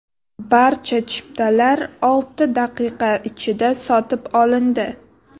Barcha chiptalar olti daqiqa ichida sotib olindi.